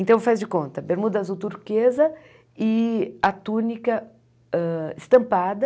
Então, faz de conta, bermuda azul turquesa e a túnica hã estampada,